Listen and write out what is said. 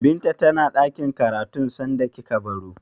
Binta tana ɗakin karatun sanda kika baro?